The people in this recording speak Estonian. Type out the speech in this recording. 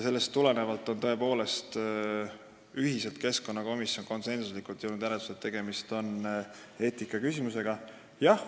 Sellest tulenevalt on keskkonnakomisjon tõepoolest ühiselt, konsensuslikult jõudnud järeldusele, et tegemist on eetikaküsimusega.